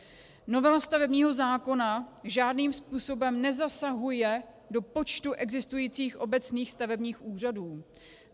Novela stavebního zákona žádným způsobem nezasahuje do počtu existujících obecních stavebních úřadů.